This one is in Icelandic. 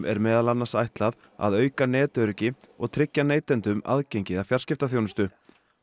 er meðal annars ætlað að auka netöryggi og tryggja neytendum aðgengi að fjarskiptaþjónustu